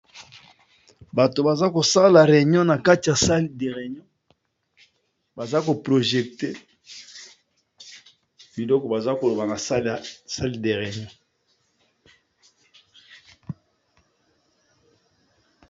Bato baza kosala réunion na kati ya salle de réunion, baza ko projecter biloko baza koloba na salle de réunion.